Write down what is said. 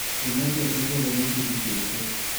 Ciana ciake ciothe nicihikĩte.